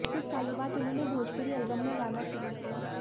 कुछ सालों बाद उन्होंने भोजपुरी एल्बम में गाना शुरू किया